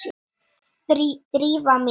Drífa mín?